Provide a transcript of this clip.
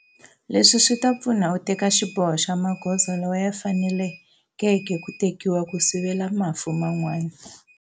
Leswi swi ta pfuna u teka xiboho xa magoza lawa ya fanelekeke ku tekiwa ku sivela mafu man'wana.